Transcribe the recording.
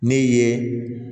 Ne ye